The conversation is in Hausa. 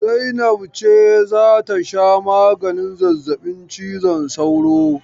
Zainab ce za ta sha maganin zazzabin cizon sauro.